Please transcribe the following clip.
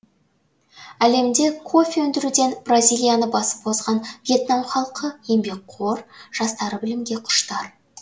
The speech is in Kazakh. әлемде кофе өндіруден бразилияны басып озған вьетнам халқы еңбекқор жастары білімге құштар